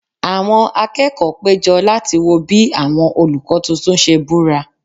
Àwọn akẹ́kọ̀ọ́ péjọ láti wo bí àwọn olùkọ́ tuntun ṣe búra